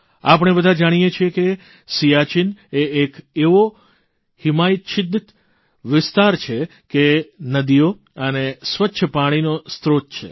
આપણે બધા જાણીએ છીએ કે સીયાચીન એ એક એવો હિમઆચ્છાદિત વિસ્તાર છે જે નદીઓ અને સ્વચ્છ પાણીનો સ્રોત છે